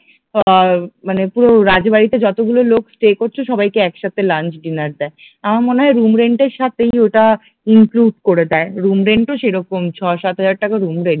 ধর মানে পুরো রাজবাড়ীতে যতগুলো লোক স্টে করছে সবাইকে একসাথে লাঞ্চ ডিনার দেয়, আমার মনে হয় রুম রেন্ট এর সাথেই ওটা ইনক্লুড করে দেয়, রুম রেন্ট ও সেরকম ছয় সাতহাজার টাকা রুম রেন্ট